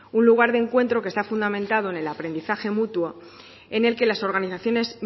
un lugar de encuentro que está fundamentado en el aprendizaje mutuo en el que las organizaciones